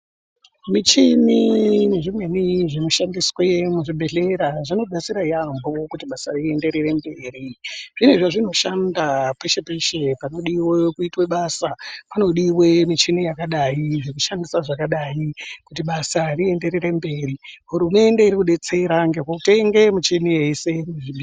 Michini zvimweni zvinoshandiswe muzvibhedlera, zvinodetsera yaambo kuti basa riyenderere mberi ,zvine zvazvinoshanda peshe peshe panodiwe kuitwe basa, panodiwe michini yakadai, zvekushandisa zvakadai kuti basa riyenderere mberi. Hurumende irikudetsera ngekutenge michini yese.